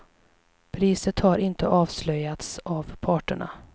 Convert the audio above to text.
Priset har inte avslöjats av parterna.